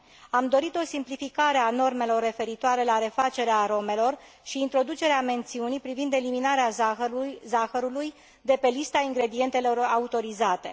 Am dorit o simplificare a normelor referitoare la refacerea aromelor și introducerea mențiunii privind eliminarea zahărului de pe lista ingredientelor autorizate.